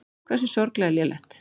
Hversu sorglega lélegt.